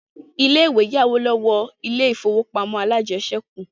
Ilé-ìwé yá owó lọ́wọ́ ilé ìfowópamọ́ alájẹsẹ́kù